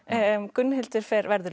Gunnhildur verður